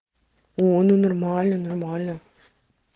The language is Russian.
о ну нормально нормально